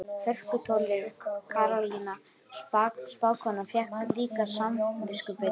Hörkutólið Karólína spákona fékk líka samviskubit.